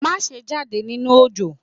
Maṣe jade ninu òjò!